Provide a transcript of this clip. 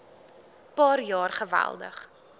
paar jaar geweldig